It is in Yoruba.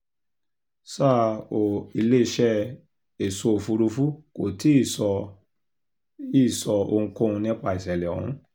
ṣá ò iléeṣẹ́ èso òfúrufú kò tí ì sọ ì sọ ohunkóhun nípa ìṣẹ̀lẹ̀ ọ̀hún